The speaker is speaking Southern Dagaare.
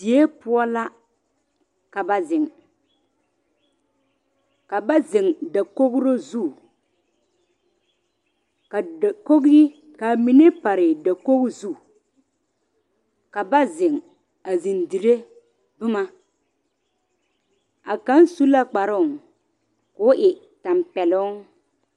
Die poɔ la ka ba zeŋ ka ba zeŋ dakogiro zu ka dakogiri, k'a mine pare dakogi zu ka ba zeŋ a zeŋ dire boma, a kaŋ su la kparoŋ k'o e tampɛloŋ.